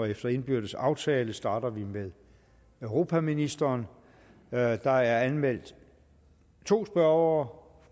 efter indbyrdes aftale starter vi med europaministeren der er der er anmeldt to spørgere